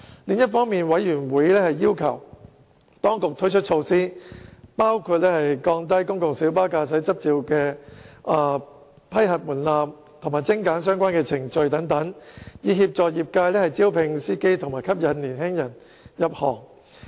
另一方面，委員要求當局推出措施，包括降低公共小巴駕駛執照的批核門檻及精簡相關程序等，以協助業界招聘司機及吸引年青人入行。